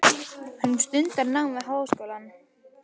Hún stundar nám við háskólann.